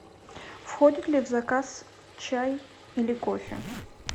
входит ли в заказ чай или кофе